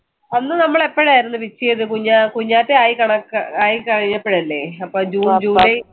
അന്ന് നമ്മൾ എപ്പോഴായിരുന്നു വെട്ടിയത് കുഞ്ഞാ കുഞ്ഞാറ്റ ആയി ആയി കഴിഞ്ഞാപ്പയല്ലേ അപ്പൊ ജൂൺ ജൂലൈ